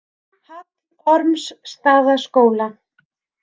Hallormsstaðaskóla